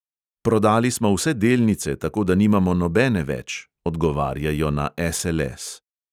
"Prodali smo vse delnice, tako da nimamo nobene več," odgovarjajo na SLS.